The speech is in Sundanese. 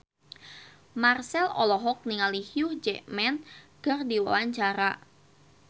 Marchell olohok ningali Hugh Jackman keur diwawancara